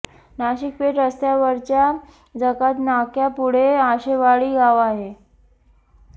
नाशिक पेठ रस्त्यावरच्या जकात नाक्यापुढे आशेवाडी गाव आहे